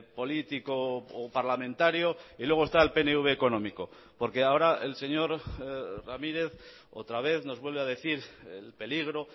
político o parlamentario y luego está el pnv económico porque ahora el señor ramírez otra vez nos vuelve a decir el peligro